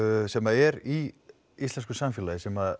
sem er í íslensku samfélagi sem